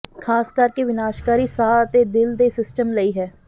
ਖ਼ਾਸ ਕਰਕੇ ਵਿਨਾਸ਼ਕਾਰੀ ਸਾਹ ਅਤੇ ਦਿਲ ਦੇ ਸਿਸਟਮ ਲਈ ਹੈ